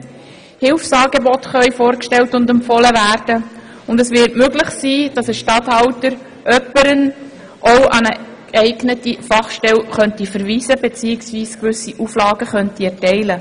Hilfsangebote können vorgestellt und empfohlen werden und es wird möglich, dass ein Regierungsstatthalter jemanden auch an eine geeignete Fachstelle verweist oder bestimmte Auflagen erteilt.